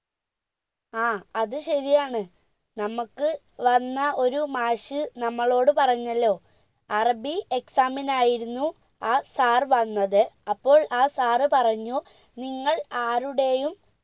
ആ അത് ശരിയാണ് നമ്മക്ക് വന്ന ഒരു മാഷ് നമ്മളോട് പറഞ്ഞല്ലോ അറബി exam നായിരുന്നു ആ sir വന്നത് അപ്പോൾ ആ sir പറഞ്ഞു നിങ്ങൾ ആരുടേയും